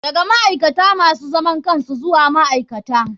Daga ma'aikata masu zaman kansu zuwa ma'aikata.